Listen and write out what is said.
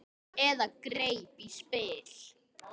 Eða greip í spil.